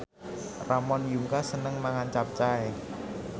Ramon Yungka seneng mangan capcay